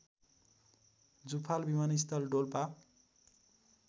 जुफाल विमानस्थल डोल्पा